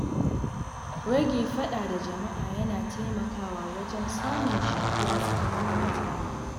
Rage faɗa da jama'a yana taimakawa wajen samun jituwa tsakanin mutane.